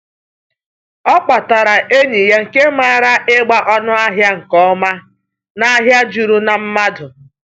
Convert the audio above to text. O kpọtara enyi ya nke maara ịgba ọnụahịa nke ọma n’ahịa juru na mmadụ.